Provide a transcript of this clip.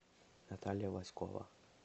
наталья власькова